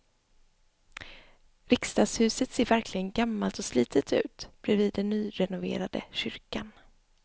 Riksdagshuset ser verkligen gammalt och slitet ut bredvid den nyrenoverade kyrkan.